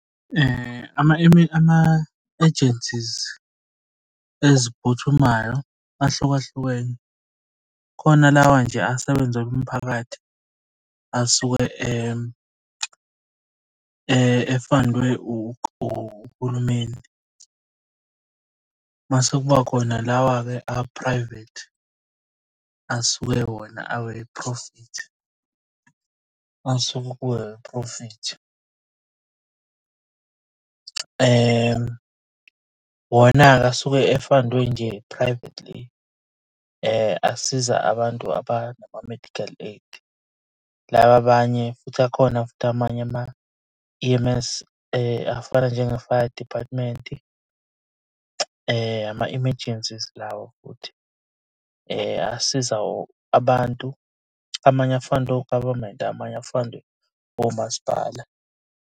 Ama-agencies eziphuthumayo ahlukahlukene, khona lawa nje asebenzela umphakathi asuke e-fund-we uhulumeni. Mase kuba khona lawa-ke a-private asuke wona awe-profit, asuke ku awe-profit. Wona-ke asuke e-fund-we nje privately. Asiza abantu abanama-medical aid, laba abanye futhi akhona futhi amanye ama-E_M_S afana njenge-fire department. Ama-emergencies lawa futhi asiza abantu. Amanye a-fund-we u-government, amanye a-fund-we omasipala.